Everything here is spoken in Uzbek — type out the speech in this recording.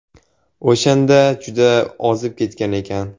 O‘shanda juda ozib ketgan ekan.